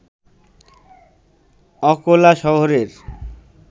অকোলা শহরের